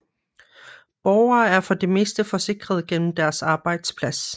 Borgere er for det meste forsikret gennem deres arbejdsplads